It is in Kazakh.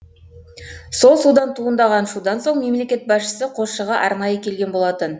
сол судан туындаған шудан соң мемлекет басшысы қосшыға арнайы келген болатын